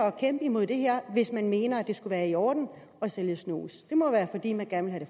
at kæmpe mod det her hvis man mener at det skulle være i orden at sælge snus det må være fordi man gerne